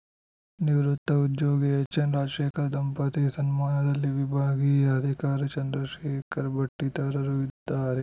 ನಿವೃತ್ತ ಉದ್ಯೋಗಿ ಎಚ್‌ಎನ್‌ ರಾಜಶೇಖರ್‌ ದಂಪತಿ ಸನ್ಮಾನದಲ್ಲಿ ವಿಭಾಗೀಯ ಅಧಿಕಾರಿ ಚಂದ್ರಶೇಖರ್‌ ಭಟ್‌ ಇತರರು ಇದ್ದಾರೆ